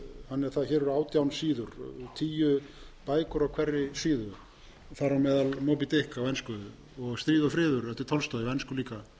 hér eru átján síður tíu bækur á hverri síðu þar á meðal moby dick á ensku og stríð og friður eftir tolstoj á ensku líka